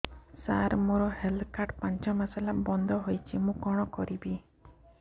ସାର ମୋର health card ପାଞ୍ଚ ମାସ ହେଲା ବଂଦ ହୋଇଛି ମୁଁ କଣ କରିବି